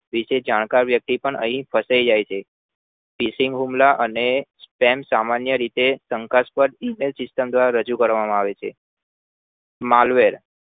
Stamp Mail વિષે જાણકાર વ્યક્તિ પણ અહી ફસાય જાય છે fishing હુમલા અને spam સામાન્ય રીતે સંઘર્ષ પણ રજુ કરવામાં આવે છે marvel